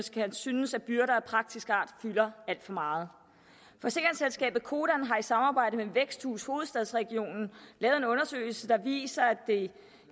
synes at byrder af praktisk art fylder alt for meget forsikringsselskabet codan har i samarbejde med væksthus hovedstadsregionen lavet en undersøgelse der viser at det